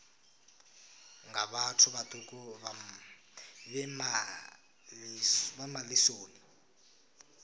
nga vhathu vhaṱuku vhe malisoni